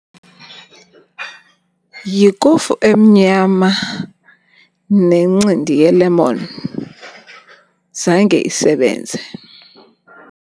Yikofu emnyama nencindi yelemoni, zange isebenze.